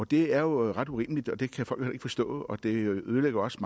det er jo ret urimeligt og det kan folk heller ikke forstå og det ødelægger også